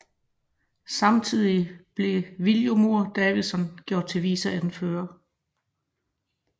Samtidigt blev Viljormur Davidsen gjort til viceanfører